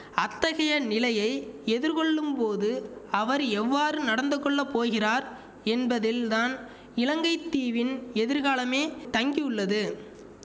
அத்தகைய நிலையை எதிர்கொள்ளும்போது அவர் எவ்வாறு நடந்து கொள்ள போகிறார் என்பதில்தான் இலங்கை தீவின் எதிர்காலமே தங்கியுள்ளது